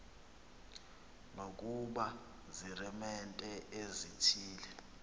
nokuba ziiremente ezithile